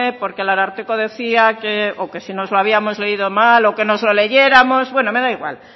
porque el ararteko decía que o que si nos lo habíamos leído mal o que nos lo leyéramos bueno me da igual